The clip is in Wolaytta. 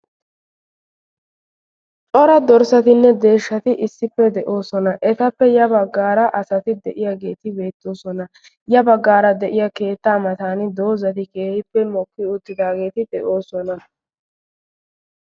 cora dorssatinne deeshshati issippe de"oosona. ettappe ya baggaara asati de"iyaageti beettosona. ya baggaara de'iyaa keettaa mattaan doozzati keehippe mokki uttageti de"oosona.